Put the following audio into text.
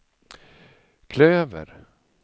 klöver